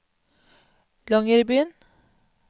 Longyearbyen